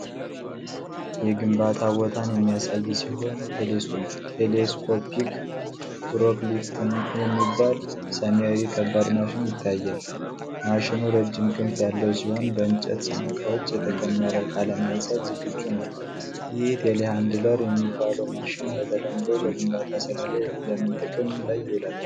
የግንባታ ቦታን የሚያሳይ ሲሆን ቴሌስኮፒክ ፎርክሊፍት የሚባል ሰማያዊ ከባድ ማሽን ይታያል። ማሽኑ ረጅም ክንፍ ያለው ሲሆን በእንጨት ሳንቃዎች የተከመረ ዕቃ ለማንሳት ዝግጁ ነው። ይህ ቴሌሃንድለር የሚባለው ማሽን በተለምዶ በግንባታ ስራ ላይ ለምን ጥቅም ላይ ይውላል?